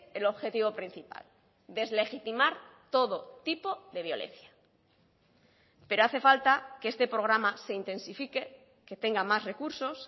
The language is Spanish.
el objetivo principal deslegitimar todo tipo de violencia pero hace falta que este programa se intensifique que tenga más recursos